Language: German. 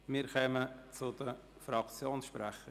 Wir kommen zu den Fraktionssprechern.